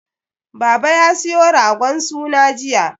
Baba ya siyo ragon suna jiya.